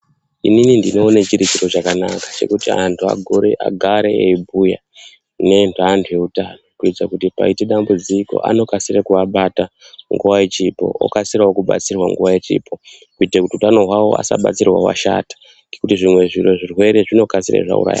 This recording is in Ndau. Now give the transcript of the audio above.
Ini I ndinoona chiri chiro chakanaka chekuti andu agare eibhuya neandu eutano kuitira paita dambudziko anokasira kuabata nguwa ichipo okasirawo kubatsirwa nguwa ichipo kuita utano hwawo asabatsirwa washata kuti zvimwe zvirwere zvinokasika zvauraya.